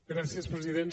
gràcies president